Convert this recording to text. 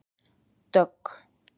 Dögg